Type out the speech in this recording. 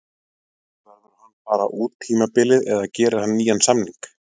Verður hann bara út tímabilið eða gerir hann nýjan samning?